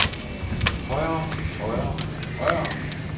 højere højere højere